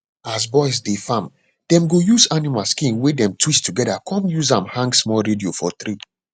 as boys dey farm dem go use animal skin wey dem twist together come use am hang small radio for tree